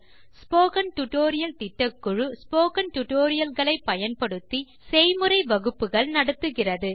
spoken tutorial திட்டக்குழு spoken tutorial களை160 பயன்படுத்தி செய்முறை வகுப்புகள் நடத்துகிறது